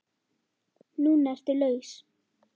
Núna ertu laus.